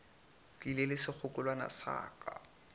tlile le sekgekolwana sa ka